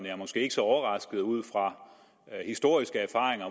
er måske ikke så overrasket ud fra historiske erfaringer